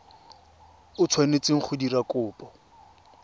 o tshwanetseng go dira kopo